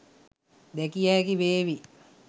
දැකිය හැකි වේවි.